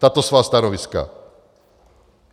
Tato svá stanoviska!